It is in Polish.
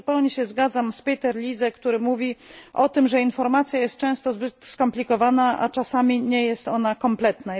Zupełnie się zgadzam z Peterem Liese, który mówi o tym, że informacja jest często zbyt skomplikowana, a czasami nie jest ona kompletna.